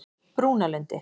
Brúnalundi